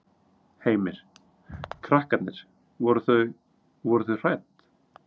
Heimir: Krakkarnir, voru þau, voru þau hrædd?